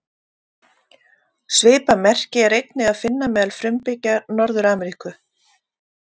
Svipað merki er einnig að finna meðal frumbyggja Norður-Ameríku.